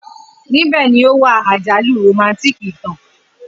Nibẹ ni o wa ajalu romantic itan.